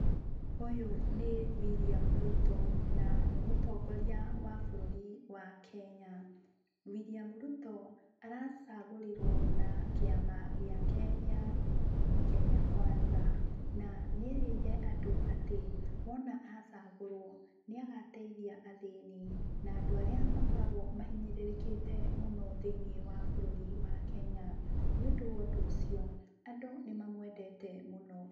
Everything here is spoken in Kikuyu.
Ũyũ nĩ William Ruto na nĩ mũtongoria wa bũrũri wa Kenya. Wiliam Ruto aracagũrirwo na kĩama gĩake gĩa Kenya Kwanza na nĩerĩire andũ atĩ wona acagũrwo, nĩagateithia athĩnĩ, na andũ arĩa makoragwo mahinyĩrĩrĩkĩte mũno thinĩ wa bũrũri wa Kenya. Nĩũndũ wa ũndũ ũcio, andũ nĩmamwendete mũno.